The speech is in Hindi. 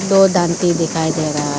दो दांती दिखाई दे रहा--